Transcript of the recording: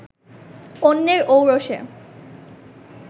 অন্যের ঔরসে